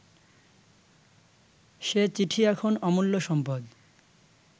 সে চিঠি এখন অমূল্য সম্পদ